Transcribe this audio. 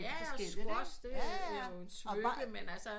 Jaja og squash det er jo svøbe men altså